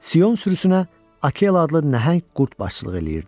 Sion sürüsünə Akela adlı nəhəng qurd başçılıq eləyirdi.